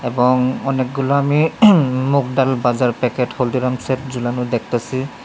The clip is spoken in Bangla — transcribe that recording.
এবং অনেকগুলো আমি মুগডাল ভাজার প্যাকেট হলদিরামসের ঝুলানো দেখতাসি।